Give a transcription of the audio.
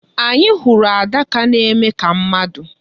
Anyị hụrụ adaka na-eme ka mmadụ.